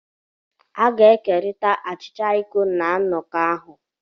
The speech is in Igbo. A ga-ekerịta achịcha iko na nnọkọ ahụ